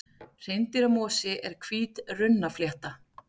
Hreindýramosi er hvít runnaflétta.